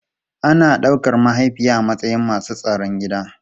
Ana daukar mahaifiya a matsayin masu tsaron gida.